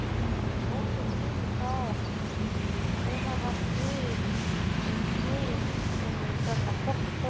Kolbeinn Tumi Daðason: Hvenær var skriðið inn í þennan poka?